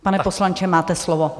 Pane poslanče, máte slovo.